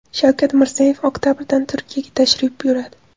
Shavkat Mirziyoyev oktabrda Turkiyaga tashrif buyuradi.